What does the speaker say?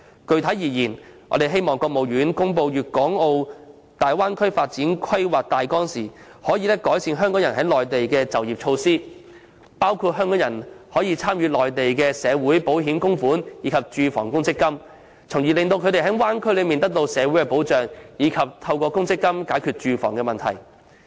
具體而言，我們希望中華人民共和國國務院在公布粵港澳大灣區發展規劃的大綱時，能改善港人在內地的就業措施，包括讓港人參加內地的社會保險及住房公積金供款安排，從而令他們可在區內得到社會保障，以及透過公積金解決住房問題。